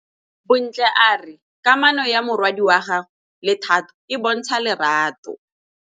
Bontle a re kamanô ya morwadi wa gagwe le Thato e bontsha lerato.